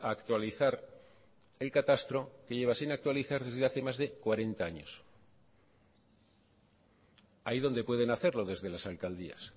a actualizar el catastro que lleva sin actualizar desde hace más de cuarenta años ahí donde pueden hacerlo desde las alcaldías